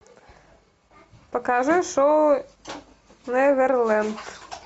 покажи шоу неверленд